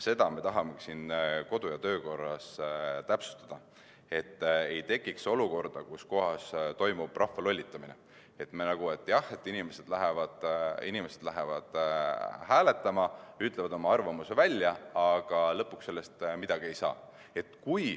Seda me tahamegi kodu- ja töökorra seaduses täpsustada, et ei tekiks olukorda, kus toimub rahva lollitamine, et jah, inimesed lähevad hääletama ja ütlevad oma arvamuse välja, aga lõpuks sellest midagi ei muutu.